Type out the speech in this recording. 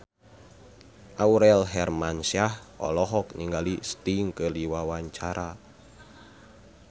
Aurel Hermansyah olohok ningali Sting keur diwawancara